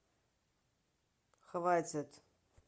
хватит